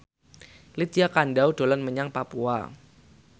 Lydia Kandou dolan menyang Papua